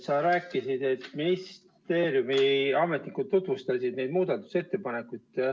Sa rääkisid, et ministeeriumi ametnikud tutvustasid neid muudatusettepanekuid.